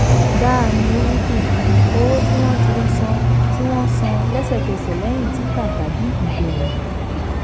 dahani hundi: owó tí wọ́n tí wọ́n san lẹ́sẹ̀kẹsẹ̀ lẹ́yìn títà tàbí ìbéèrè.